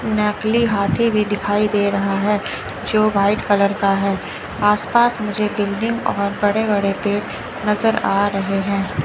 नकली हाथी भी दिखाई दे रहा है जो वाइट कलर का है आसपास मुझे बिल्डिंग और बड़े बड़े पेड़ नजर आ रहे हैं।